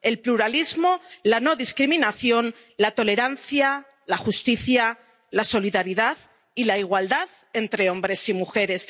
el pluralismo, la no discriminación, la tolerancia, la justicia, la solidaridad y la igualdad entre hombres y mujeres.